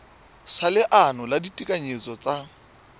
sa leano la ditekanyetso tsa